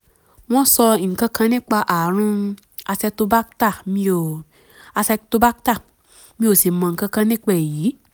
wọ́n sọ nǹkan kan nípa ààrùn acetobacter mi ò acetobacter mi ò sì mọ nǹkan kan nípa èyí